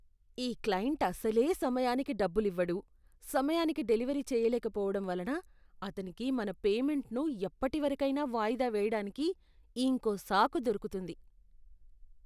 ఈ క్లయింట్ అసలే సమయానికి డబ్బులివ్వడు, సమయానికి డెలివరీ చేయలేకపోవడం వలన అతనికి మన పేమెంట్ను ఎప్పటివరకైనా వాయిదా వేయడానికి ఇంకో సాకు దొరుకుతుంది.